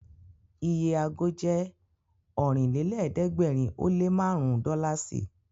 Iye ago jẹ́ Ọ̀rìnlélẹ̀ẹ́dẹ́gbèrin ó lé márùn-ún dọ́làsì